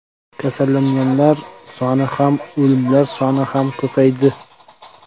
Kasallanganlar soni ham, o‘limlar soni ham ko‘paydi.